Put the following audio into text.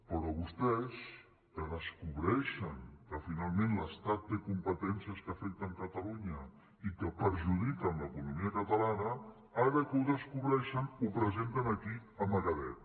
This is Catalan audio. però vostès que descobreixen que finalment l’estat té competències que afecten catalunya i que perjudiquen l’economia catalana ara que ho descobreixen ho presenten aquí amagadet